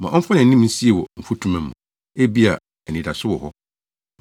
Ma ɔmfa nʼanim nsie wɔ mfutuma mu, ebia anidaso wɔ hɔ.